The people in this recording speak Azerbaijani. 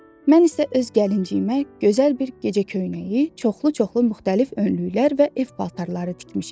Mən isə öz gəlinciyimə gözəl bir gecə köynəyi, çoxlu-çoxlu müxtəlif önlüklər və ev paltarları tikmişəm.